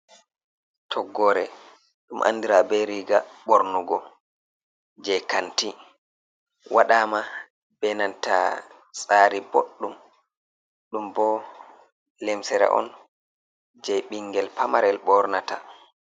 Toggore ɗum anɗira be riga bornugo je kanti. Waɗama be nanta tsari boɗɗum. Ɗum bo lemsira on je bingel pamarel bornata.